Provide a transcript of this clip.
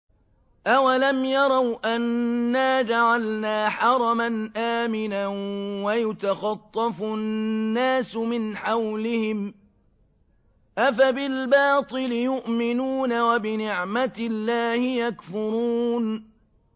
أَوَلَمْ يَرَوْا أَنَّا جَعَلْنَا حَرَمًا آمِنًا وَيُتَخَطَّفُ النَّاسُ مِنْ حَوْلِهِمْ ۚ أَفَبِالْبَاطِلِ يُؤْمِنُونَ وَبِنِعْمَةِ اللَّهِ يَكْفُرُونَ